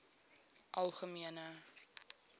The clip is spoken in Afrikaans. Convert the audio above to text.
algemene